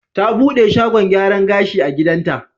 Ta buɗe shagon gyaran gashi a gidanta.